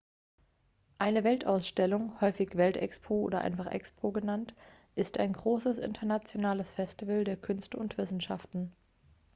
eine weltausstellung häufig welt-expo oder einfach expo genannt ist ein großes internationales festival der künste und wissenschaften